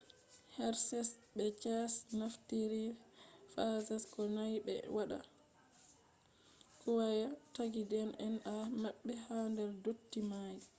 hershes be chase naftiri phages ko nyau ɓe waɗa kwaya tagi dna mabbe ha der dotti mai